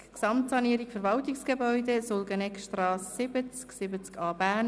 «Gesamtsanierung Verwaltungsgebäude, Sulgeneckstrasse 70/70a, Bern.